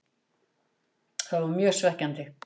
Það var mjög svekkjandi.